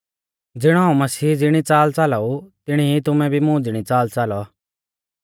ज़िणौ हाऊं मसीह ज़िणी च़ाल च़ालाऊ तिणी ई तुमै भी मुं ज़िणी च़ाल च़ालौ